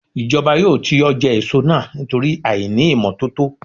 Ìjọba yóò ti ọjà èso náà nítorí àìní ìmọ́tótó.